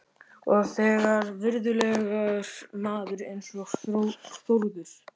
Og þegar virðulegur maður eins og Þórður